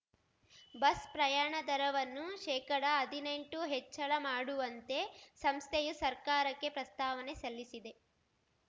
bus ಪ್ರಯಾಣ ದರವನ್ನು ಶೇಕಡಹದಿನೆಂಟು ಹೆಚ್ಚಳ ಮಾಡುವಂತೆ ಸಂಸ್ಥೆಯು ಸರ್ಕಾರಕ್ಕೆ ಪ್ರಸ್ತಾವನೆ ಸಲ್ಲಿಸಿದೆ